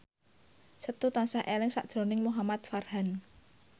Setu tansah eling sakjroning Muhamad Farhan